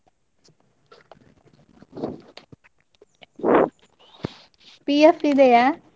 PF ಇದೆಯಾ?